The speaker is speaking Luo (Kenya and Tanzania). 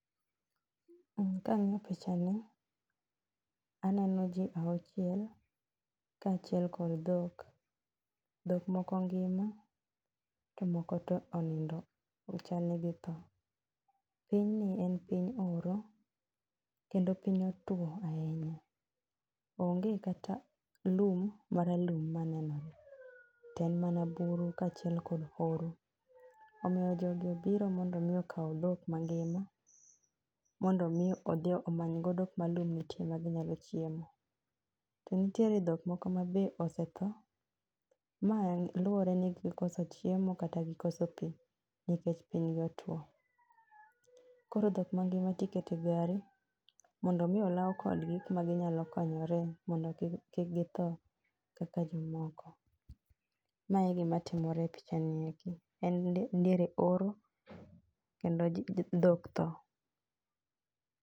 um kang'iyo pichani, aneno jii auchiel kaachiel kod dhok. Dhok moko ngima to moko to onindo ochalni dhi tho. Pinyni en piny oro kendo piny otwo ahinya. Onge kata lum maralum manenore, te en mana buru kachiel kod horo. Omiyo jogi obiro mondo mi okaw dhok mangima, mondo mi odhi omany godo kuma lum nitie ma ginyalo chiemo. To nitiere dhok moko ma be osetho, ma luwore ni gikoso chiemo kata gikoso pii nikech piny gi otwo. Koro dhok mangima tikete gari mondo omi olaw kodgi kuma ginyalo konyore mondo kik kik githo kaka jomoko. Ma e gimatimore e pichani eki, en diere oro kendo dhok tho